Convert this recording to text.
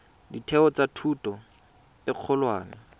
ditheo tsa thuto e kgolwane